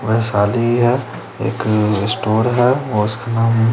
वैशाली है एक स्टोर है और उसका नाम--